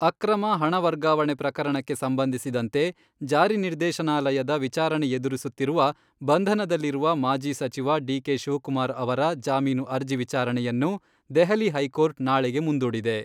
ಆಕ್ರಮ ಹಣ ವರ್ಗಾವಣೆ ಪ್ರಕರಣಕ್ಕೆ ಸಂಬಂಧಿಸಿದಂತೆ ಜಾರಿ ನಿರ್ದೇಶಾನಾಲಯದ ವಿಚಾರಣೆ ಎದುರಿಸುತ್ತಿರುವ, ಬಂಧನದಲ್ಲಿರುವ ಮಾಜಿ ಸಚಿವ ಡಿ.ಕೆ.ಶಿವಕುಮಾರ್ ಅವರ ಜಾಮೀನು ಅರ್ಜಿ ವಿಚಾರಣೆಯನ್ನು ದೆಹಲಿ ಹೈಕೋರ್ಟ್ ನಾಳೆಗೆ ಮುಂದೂಡಿದೆ.